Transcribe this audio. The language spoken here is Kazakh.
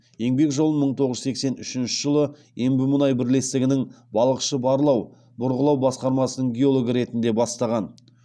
еңбек жолын мың тоғыз жүз сексен үшінші жылы ембімұнай бірлестігінің балықшы барлау бұрғылау басқармасының геологы ретінде бастаған